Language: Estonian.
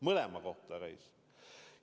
Mõlema kohta käis.